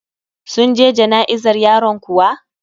Sun je jana'izar yaron kuwa?